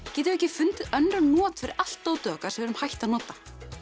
getum við ekki fundið önnur not fyrir allt dótið okkar við erum hætt að nota